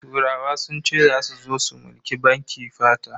Turawa sun ce zasu zo su mulki bakin fata.